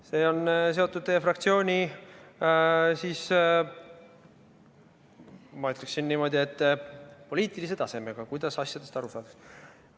See on seotud teie fraktsiooni, ma ütleksin niimoodi, poliitilise tasemega, kuidas asjadest aru saadakse.